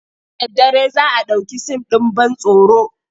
Da daddare za a ɗauki sin ɗin ban tsoro.